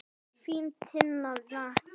Þín Tinna frænka.